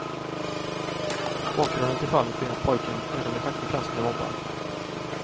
Bakgrunden till fallet är att pojken redan i sjätte klass blev mobbad.